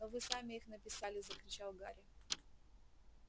но вы сами их написали закричал гарри